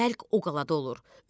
Bəlk o qalada olur.